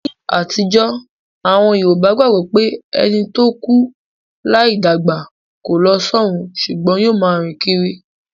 Ní àtijó, àwon Yorùbá gbagbo pé ẹni to kú láì dàgbà ko lo sọrun sùgbón yio ma rìn kírí